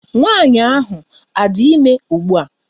Nwaanyị ahụ adị ime ụgbua?